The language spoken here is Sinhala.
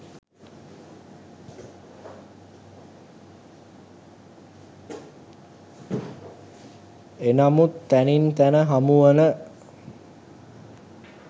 එනමුත් තැනින් තැන හමුවන